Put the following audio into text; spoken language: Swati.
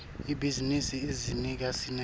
ibhizinisi idzinga sineke